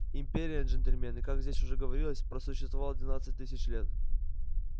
империя джентльмены как здесь уже говорилось просуществовала двенадцать тысяч лет